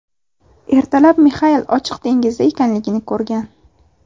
Ertalab Mixail ochiq dengizda ekanligini ko‘rgan.